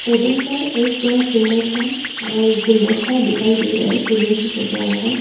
Table पर एक सुंदर सा अ गुलदस्ता दिखाई दे रहा है फूलों से सजा हुआ।